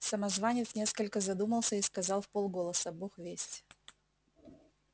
самозванец несколько задумался и сказал вполголоса бог весть